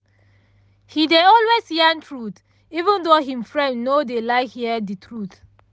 he dey always yarn truth even tho him friend no dey like hear the truth